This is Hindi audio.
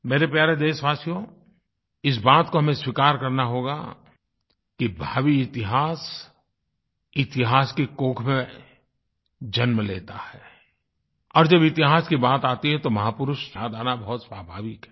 मेरे प्यारे देशवासियो इस बात को हमें स्वीकार करना होगा कि भावी इतिहास इतिहास की कोख में जन्म लेता है और जब इतिहास की बात आती है तो महापुरुष याद आना बहुत स्वाभाविक है